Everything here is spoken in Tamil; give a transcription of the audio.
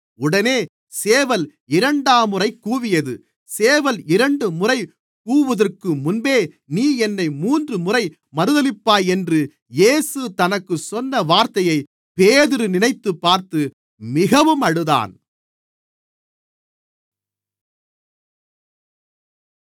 உடனே சேவல் இரண்டாம்முறை கூவியது சேவல் இரண்டுமுறை கூவுகிறதற்கு முன்பே நீ என்னை மூன்றுமுறை மறுதலிப்பாய் என்று இயேசு தனக்குச் சொன்ன வார்த்தையை பேதுரு நினைத்துப்பார்த்து மிகவும் அழுதான்